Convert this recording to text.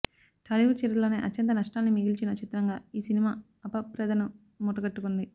టాలీవుడ్ చరిత్రలోనే అత్యంత నష్టాల్ని మిగిల్చిన చిత్రంగా ఈ సినిమా అపప్రదను మూటగట్టుకుంది